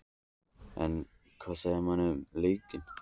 En hvað segja menn um leikinn?